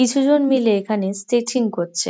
কিছু জন মিলে এখানে স্ট্রেচিং করছে।